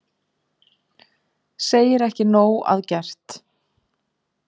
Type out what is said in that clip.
Segir ekki nóg að gert